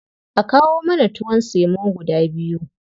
A kawo mana tuwon semo guda biyu.